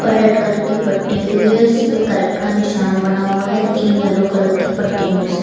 Red colour की पट्टी हुई है जिसपे करेक्ट का निशान बना हुआ है तीन येलो कलर की पट्टियों से।